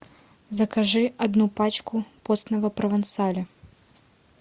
закажи одну пачку постного провансаля